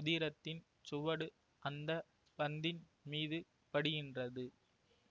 உதிரத்தின் சுவடு அந்த பந்தின் மீது படிகின்றது